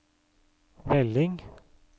melding